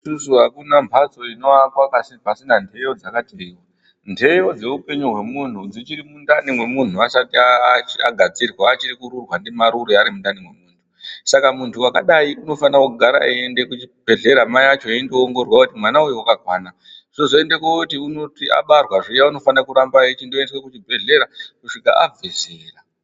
Isusu akuna mhatso inoakwa pasina nhiyo dzakati nteyo dzemuntu achiri mundani mwemuntu asati agadzirwa achiri kururwa ndimarure, ari mundani mwemuntu, saka muntu wakadai, unofanira kugara echienda kuchibhedhlera mai acho achindiningirwa, kuoneka kuti mwana uyu wakakwana, zvozoita kuti abarwa zviya unofanira kuramba eichienda kuchibhedhlera kusvika abve zera,